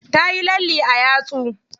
Tayi lalle a yatsu.